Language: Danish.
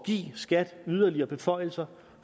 give skat yderligere beføjelser